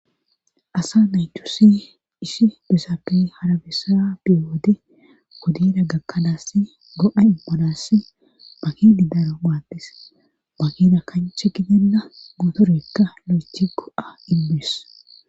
asa naytuosi ishi besappe harabessa biyoode gudida gakkadass go7a impodass bakeni daro maattis bakeeda kanche gidenna gootorekka lo7echi go7a inbis